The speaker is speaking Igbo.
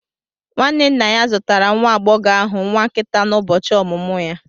Nwanne nna ya zụtara nwa agbọghọ ahụ nwa nkịta n'ụbọchị ọmụmụ ya